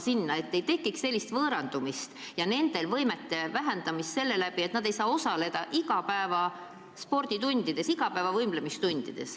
Siis ei tekiks võõrandumist ja nendegi õpilaste võimed areneksid, ses nad saaksid osaleda igapäevastes võimlemistundides.